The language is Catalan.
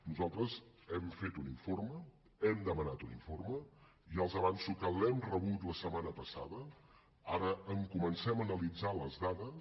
nosaltres hem fet un informe hem demanat un informe i ja els avanço que l’hem rebut la setmana passada ara en comencem a analitzar les dades